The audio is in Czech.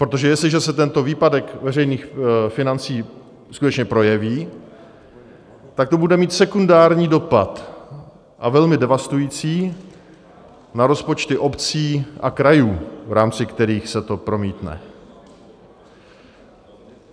Protože jestliže se tento výpadek veřejných financí skutečně projeví, tak to bude mít sekundární dopad, a velmi devastující, na rozpočty obcí a krajů, v rámci kterých se to promítne.